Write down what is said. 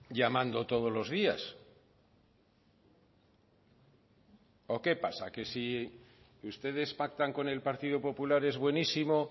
llamando todos los días o qué pasa que si ustedes pactan con el partido popular es buenísimo